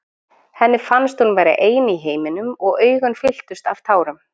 Henni fannst hún vera ein í heiminum og augun fylltust af tárum.